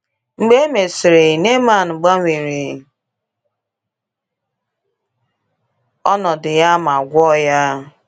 Mgbe e mesịrị, Neaman gbanwere ọnọdụ ya ma gwọọ ya.